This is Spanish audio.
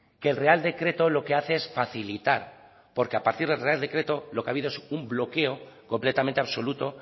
que el real decreto lo que hace es facilitar porque a partir del real decreto lo que ha habido es un bloqueo completamente absoluto